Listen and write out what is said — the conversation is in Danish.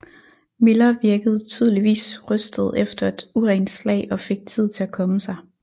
Miller virkede tydeligvis rystet efter et urent slag og fik tid til at komme sig